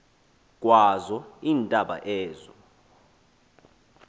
kwazo iintaba ezo